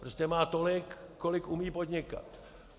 Prostě má tolik, kolik umí podnikat.